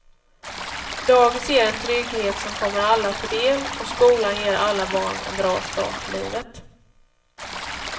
Dagis ger en trygghet som kommer alla till del och skolan ger alla barn en bra start i livet.